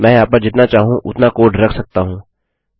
मैं यहाँ पर जितना चाहूँ उतना कोड रख सकता हूँ